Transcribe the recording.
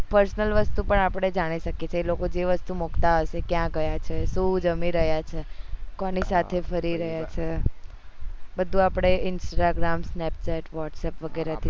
personal વસ્તુ પણ આપડે જાણી શકીએ છીએ જે લોકો જે વસ્તુ મુકતા હોય છે ક્યાં ગયા છે સુ જમી રહ્યા છે કોની સાથે ફરી રહ્યા છે બધું આપડે instagram snapchat whatsapp વગેરે થી